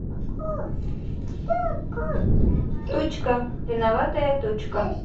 тучка виноватая тучка